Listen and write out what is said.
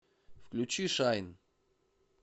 включи шайн